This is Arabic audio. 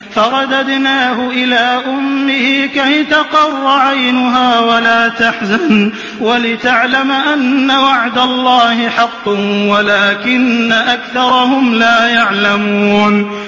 فَرَدَدْنَاهُ إِلَىٰ أُمِّهِ كَيْ تَقَرَّ عَيْنُهَا وَلَا تَحْزَنَ وَلِتَعْلَمَ أَنَّ وَعْدَ اللَّهِ حَقٌّ وَلَٰكِنَّ أَكْثَرَهُمْ لَا يَعْلَمُونَ